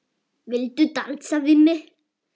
Viltu dansa við mig?